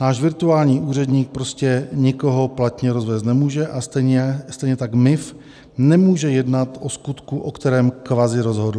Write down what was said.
Náš virtuální úředník prostě nikoho platně rozvést nemůže a stejně tak MIV nemůže jednat o skutku, o kterém kvazi rozhodl.